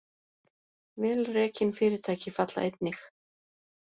Vel rekin fyrirtæki falla einnig